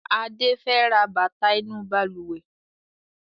Adé fẹ ra bàtà inú Balùwẹ́